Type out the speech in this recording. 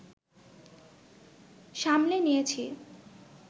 সামলে নিয়েছি